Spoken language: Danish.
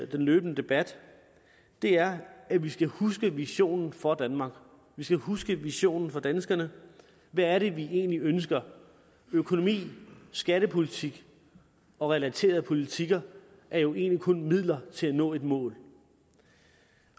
den løbende debat er at vi skal huske visionen for danmark vi skal huske visionen for danskerne hvad er det vi egentlig ønsker økonomi skattepolitik og relaterede politikker er jo egentlig kun midler til at nå et mål